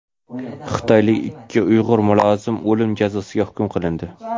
Xitoyda ikki uyg‘ur mulozim o‘lim jazosiga hukm qilindi.